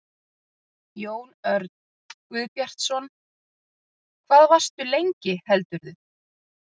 Jón Örn Guðbjartsson: Hvað varstu lengi heldurðu?